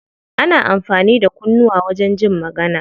Ana amfani da kunnuwa wajen jin magana.